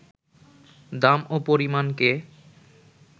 দাম ও পরিমাণকে